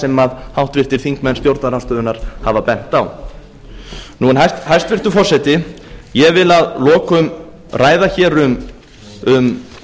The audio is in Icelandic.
sem háttvirtir þingmenn stjórnarandstöðunnar hafa bent á hæstvirtur forseti ég vil að lokum ræða hér um